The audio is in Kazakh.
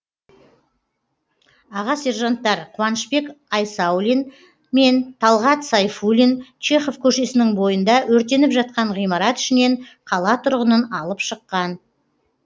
аға сержанттар қуанышбек айсаулин мен талғат сайфуллин чехов көшесінің бойында өртеніп жатқан ғимарат ішінен қала тұрғынын алып шыққан